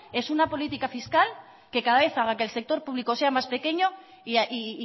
es una política fiscal que cada vez haga que el sector público sea más pequeño y